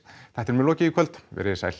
þættinum er lokið í kvöld verið þið sæl